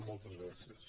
moltes gràcies